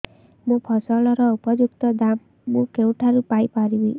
ମୋ ଫସଲର ଉପଯୁକ୍ତ ଦାମ୍ ମୁଁ କେଉଁଠାରୁ ପାଇ ପାରିବି